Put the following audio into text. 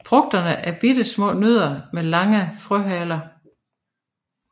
Frugterne er bittesmå nødder med lange frøhaler